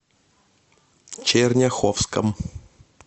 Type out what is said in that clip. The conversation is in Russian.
черняховском